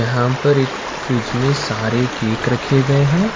यहां पर एक फ्रिज में सारे केक रखे गए हैं।